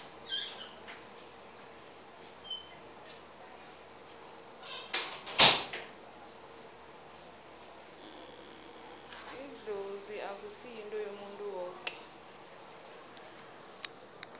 idlozi akusi yinto yomuntu woke